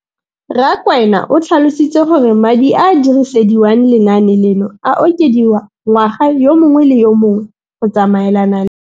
Rakwena o tlhalositse gore madi a a dirisediwang lenaane leno a okediwa ngwaga yo mongwe le yo mongwe go tsamaelana le.